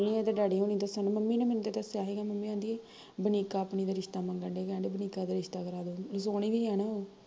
ਏਹਦੇ ਡੈਡੀ ਹੁਣੀ ਦੱਸਣ, ਮੰਮੀ ਨੇ ਮੈਨੂੰ ਤੇ ਦੱਸਿਆ ਸੀ ਮੰਮੀ ਕਹਿੰਦੀ, ਵਨੀਕਾ ਆਪਣੀ ਦਾ ਰਿਸ਼ਤਾ ਮੰਗਣ ਡਏ, ਕਹਿਣ ਡਏ, ਵਨੀਕਾ ਦਾ ਰਿਸ਼ਤਾ ਕਰਾਦੋ, ਸੋਹਣੀ ਵੀ ਐ ਨਾ